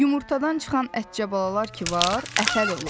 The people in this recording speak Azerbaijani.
Yumurtadan çıxan ətcə balalar ki var, əfəl olur.